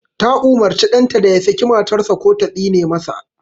Ta umurci ɗanta da ya saki matar sa ko ta tsine ma sa